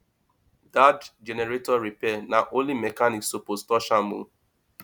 dat generator repair na only mechanic suppose touch am o